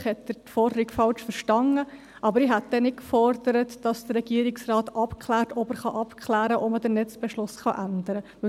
Vielleicht hat er die Forderung falsch verstanden, aber ich hätte dann nicht gefordert, dass der Regierungsrat abklärt, ob er abklären kann, ob er den Netzbeschluss ändern kann.